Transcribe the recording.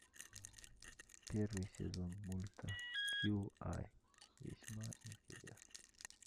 первый сезон мульта кьюай весьма интересно